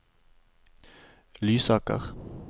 Lysaker